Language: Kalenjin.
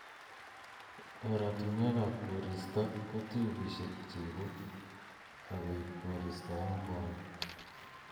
Oratunwek ab koristo ko tiubisiek cheibu akoib koristo eng bwonik